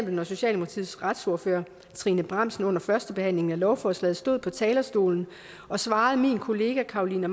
når socialdemokratiets retsordfører trine bramsen under førstebehandlingen af lovforslaget stod på talerstolen og svarede min kollega carolina